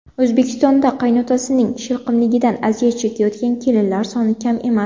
O‘zbekistonda qaynotasining shilqimligidan aziyat chekayotgan kelinlar soni kam emas.